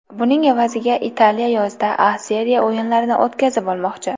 Buning evaziga Italiya yozda A Seriya o‘yinlarini o‘tkazib olmoqchi.